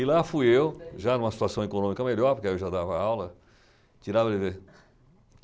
E lá fui eu, já numa situação econômica melhor, porque aí eu já dava aula, tirar brevê.